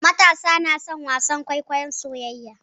Matasa na son wasan kwaikwayon soyayya.